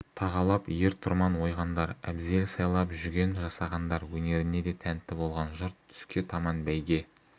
тағалап ер-тұрман ойғандар әбзел сайлап жүген жасағандар өнеріне де тәнтті болған жұрт түске таман бәйге